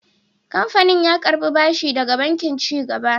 Kamfanin ya karɓi bashi daga Bankin Ci Gaba.